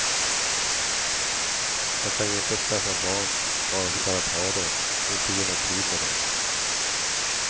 Jag kan ju inte skaffa barn bara för att ha dom och inte ge mig tid med dom.